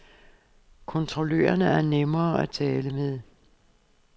Kontrollørerne er nemme at tale med.